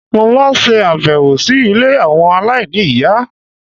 Mo máa ń ṣe àbẹ̀wò si ilé àwọn aláìní ìyá